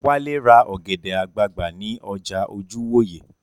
Wálé ra ọ̀gẹ̀dẹ̀ àgbagbà ní ọjà Ojúwòyè